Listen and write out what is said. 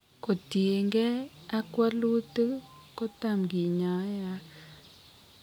Kotien kee ag walutik kotam kinyae ak